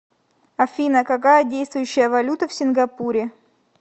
афина какая действующая валюта в сингапуре